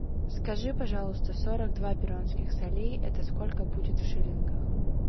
скажи пожалуйста сорок два перуанских солей это сколько будет в шиллингах